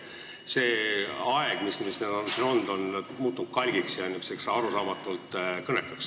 See aeg, mis nad siin on olnud, on muutnud nad kalgiks ja arusaamatult kõnekaks.